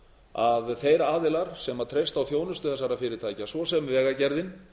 að þeir aðilar sem treysta á þjónustu þessara fyrirtækja svo sem vegagerðin